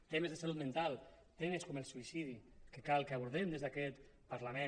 temes de salut mental temes com el suïcidi que cal que abordem des d’aquest parlament